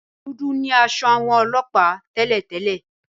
Dúdú ni aṣọ àwọn ọlọ́ọ̀pá tẹ́lẹ̀ délẹ̀